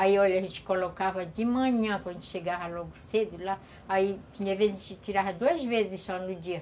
Aí, olha, a gente colocava de manhã, quando chegava logo cedo lá, aí tinha vezes que tirava duas vezes só no dia.